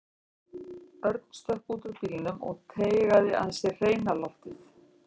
Örn stökk út úr bílnum og teygaði að sér hreina loftið.